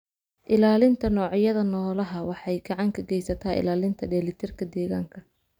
Ilaalinta noocyada noolaha waxay gacan ka geysataa ilaalinta dheelitirka deegaanka.